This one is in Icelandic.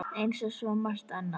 Eins og svo margt annað.